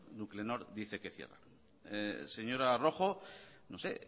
nuclenor dice que cierra señora rojo no sé